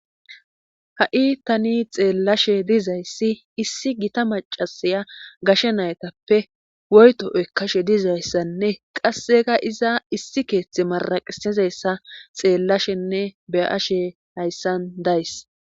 ha7i tani xeellashe dizayssi issi gita macasiya gashe naytappe woyto eykkashe dizayssanne qasseka iza issi keeththe maraqisizayssa xeellashenne beyashe hayssan days